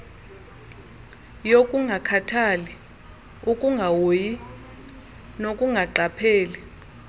yokungakhathali ukungahoyi nokungaqapheli